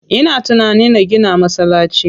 Ina tunanin na gina masallaci.